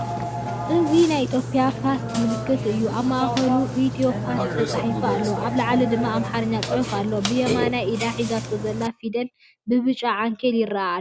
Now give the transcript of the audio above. እዚ ናይ ኢትዮጵያ ፖስት ምልክት እዩ፤ ኣብ ማእከሉ "ኢትዮፖስት" ተጻሒፉ ኣሎ፣ ኣብ ላዕሊ ድማ ኣምሓርኛ ጽሑፍ ኣሎ። ብየማናይ ኢዳ ሒዛቶ ዘላ ፊደል ብብጫ ዓንኬል ይረአ ኣሎ።